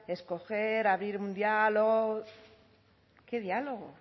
escoger abrir un diálogo qué diálogo